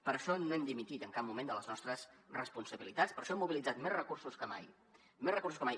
per això no hem dimitit en cap moment de les nostres responsabilitats per això hem mobilitzat més recursos que mai més recursos que mai